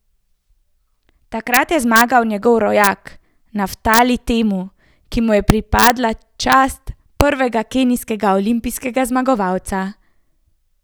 Takrat je zmagal njegov rojak Naftali Temu, ki mu je pripadla čast prvega kenijskega olimpijskega zmagovalca.